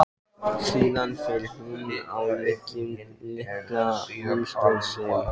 Síðan fær hún á leigu litla vinnustofu sem